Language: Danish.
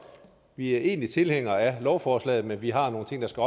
vi er egentlig tilhængere af lovforslaget men vi har nogle ting der skal